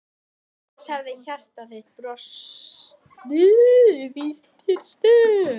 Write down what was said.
Annars hefði hjarta þitt brostið í hinsta sinn.